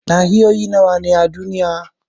Nahiyoyi nawa ne a duniya?